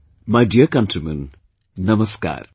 My dear countrymen, Namaskar